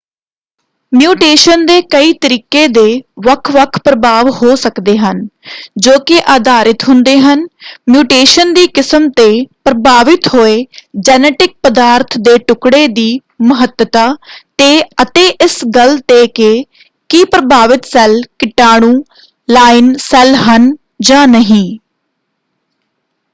Mutation ਦੇ ਕਈ ਤਰੀਕੇ ਦੇ ਵੱਖ-ਵੱਖ ਪ੍ਰਭਾਵ ਹੋ ਸਕਦੇ ਹਨ ਜੋ ਕਿ ਆਧਾਰਿਤ ਹੁੰਦੇ ਹਨ ਮਿਊਟੇਸ਼ਨ ਦੀ ਕਿਸਮ ‘ਤੇ ਪ੍ਰਭਾਵਿਤ ਹੋਏ ਜੈਨੇਟਿਕ ਪਦਾਰਥ ਦੇ ਟੁਕੜੇ ਦੀ ਮਹੱਤਤਾ ‘ਤੇ ਅਤੇ ਇਸ ਗੱਲ ‘ਤੇ ਕਿ ਕੀ ਪ੍ਰਭਾਵਿਤ ਸੈੱਲ ਕੀਟਾਣੂ-ਲਾਈਨ ਸੈੱਲ ਹਨ ਜਾਂ ਨਹੀਂ।